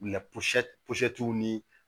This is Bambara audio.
ni